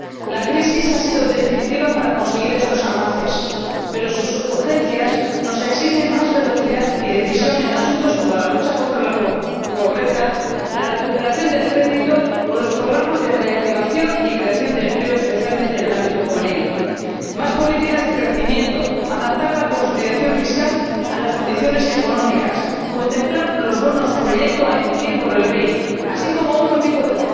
La crisis ha sido definitiva para conseguir estos avances, pero sus urgencias nos exigen más velocidad y decisión en asuntos como la lucha contra la pobreza, la recuperación del crédito o los programas de reactivación y creación de empleo, especialmente en el ámbito juvenil, más políticas de crecimiento, adaptar la consolidación fiscal a las condiciones económicas, contemplar los bonos proyecto a emitir por el BEI, así como otro tipo de